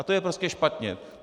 A to je prostě špatně.